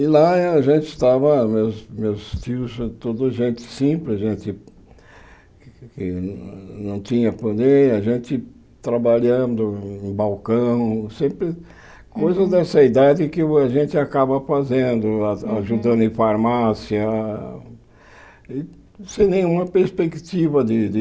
E lá eh a gente estava, meus meus tios, toda gente simples, gente que não tinha poder, a gente trabalhando em balcão, sempre coisas dessa idade que a gente acaba fazendo lá, ajudando em farmácia, sem nenhuma perspectiva de de